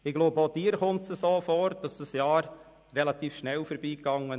» Ich glaube, auch Ihnen kommt es so vor, als sei dieses Jahr relativ schnell vorbei gegangen.